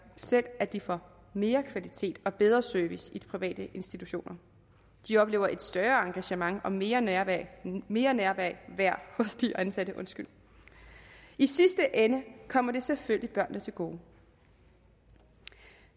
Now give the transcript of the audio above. selv at de får mere kvalitet og bedre service i de private institutioner de oplever et større engagement og mere nærvær mere nærvær hos de ansatte i sidste ende kommer det selvfølgelig børnene til gode